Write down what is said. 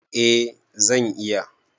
A zan iya